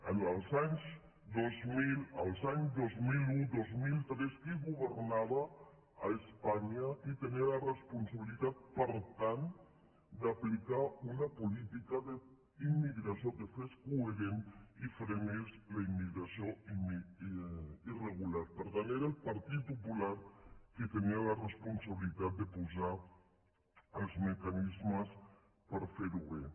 en els anys dos mil els anys dos mil un dos mil tres qui governava a espanya qui tenia la res·ponsabilitat per tant d’aplicar una política d’immigra·ció que fos coherent i frenés la immigració irregular per tant era el partit popular qui tenia la responsabilitat de posar els mecanismes per fer·ho bé